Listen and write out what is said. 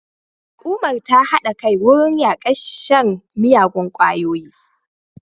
Al'ummar ta hada kai wurin yakar shan miyagun kwayoyi